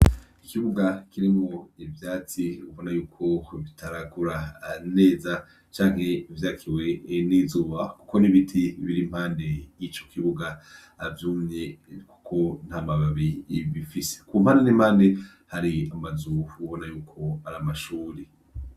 Ikibuga kiremwo ivyatsi ubona yuko bitaragura aneza canke ivyakiwe nizuba, kuko n'ibiti biriimpande y'ico kibuga avyumye, kuko nta mababi bifise ku mpande n'impande hari amazu ubona yuko aramashuri.